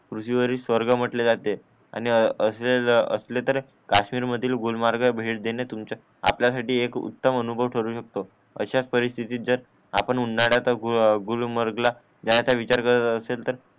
पृथ्वीवरील स्वर्ग म्हणटले जाते आणि असले असले तर काश्मीर मधील गुलमर्ग भेट देणे तुमचा आपला साठी एक उत्तम अनुभव ठरून शकतो अशाच परिस्तितीना आपण उन्हाळ्यात गुलमर्ग ला जायचा विचार करत असेल तर